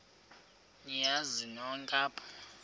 niyazi nonk apha